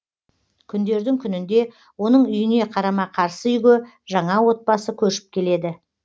күндердің күнінде оның үйіне қарама қарсы үйге жаңа отбасы көшіп келеді